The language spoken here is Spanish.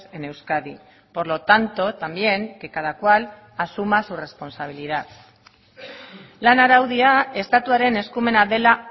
en euskadi por lo tanto también que cada cual asuma su responsabilidad lan araudia estatuaren eskumena dela